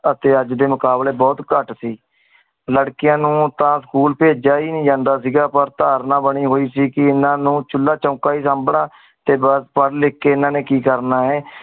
T ਅਜੇ ਡੀ ਮੁਕਾਬ੍ਲ੍ਯ ਬੁਹਤ ਕਤ ਸੀ ਲਾਰ੍ਕੇਯਨ ਨੂ school ਪੇਜੇਯਾ ਹੀ ਨੀ ਸੀ ਜਾਮ੍ਨ੍ਦਾ ਪਰ ਤਰਨਾ ਬਾਨੀ ਹੁਈ ਸੀ ਕੀ ਏਨਾ ਨੂ ਚੂਲਾ ਚੰਦਾ ਹੀ ਸੰਬ੍ਨਾ ਟੀ ਬਾਸ ਪਰ ਲਿਖ ਕੀ ਏਨਾ ਨੀ ਕੀ ਕਰ ਨਾ ਆਯ